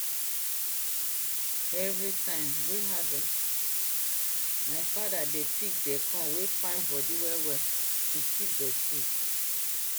every time wey harvest my father dey pik dey corn wey fine body well well to keep dey seed